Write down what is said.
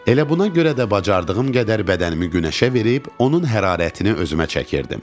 Elə buna görə də bacardığım qədər bədənimi günəşə verib onun hərarətini özümə çəkirdim.